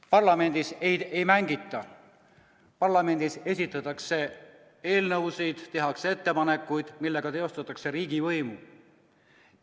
Parlamendis ei mängita, parlamendis esitatakse eelnõusid ja tehakse ettepanekuid, millega teostatakse riigivõimu.